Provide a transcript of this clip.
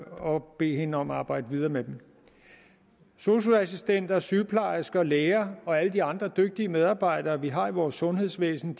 og bede hende om at arbejde videre med dem sosu assistenter sygeplejersker og læger og alle de andre dygtige medarbejdere vi har i vores sundhedsvæsen